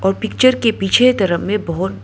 picture के पीछे तरफ में बहुत --